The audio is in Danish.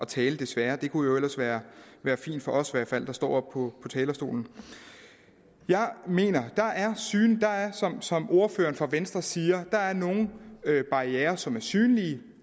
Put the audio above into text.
tale desværre det kunne ellers være være fint for os der står på talerstolen jeg mener som ordføreren for venstre siger at der er nogle barrierer som er synlige